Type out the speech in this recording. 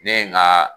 Ne ye n ka